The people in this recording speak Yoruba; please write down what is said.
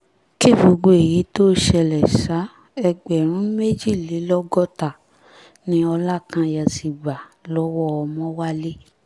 kí gbogbo èyí tóo ṣẹlẹ̀ sá ẹgbẹ̀rún méjìlélọ́gọ́ta ni ọlákanye ti gbà lọ́wọ́ ọmọwálẹ̀